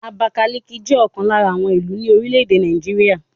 Àbákáliki jẹ́ ọ̀kan lára àwọn ìlú ní orílẹ̀ èdè Nàìjíríà